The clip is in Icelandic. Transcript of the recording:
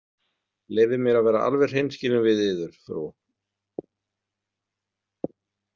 Leyfið mér að vera alveg hreinskilinn við yður, frú.